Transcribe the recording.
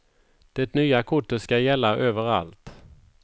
Det nya kortet skall gälla överallt.